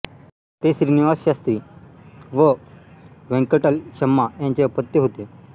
ते श्रीनिवास शास्त्री व वेंकटलक्षम्मा यांचे अपत्य होते